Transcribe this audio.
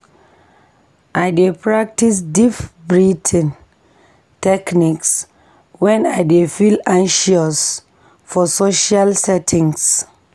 I dey practice deep breathing techniques wen I dey feel anxious for social settings.